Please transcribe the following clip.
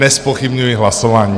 Nezpochybňuji hlasování.